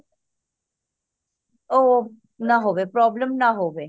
ਉਹ ਨਾ ਹੋਵੇ problem ਨਾ ਹੋਵੇ